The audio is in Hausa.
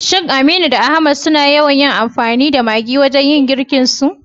Shin Aminu da Ahmad suna yawan amfani da maggi wajen girkinsu?